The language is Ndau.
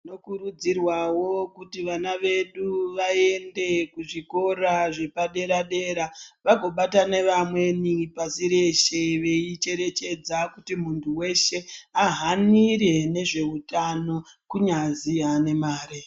Tinokurudzirwa wo kuti vaba vedu vaende kuzvikora zvepadera dera vagobatana nevamweni pasi reshe veicherechedza kuti muntu weshe ahanire nezveutano kunyazi havane mari.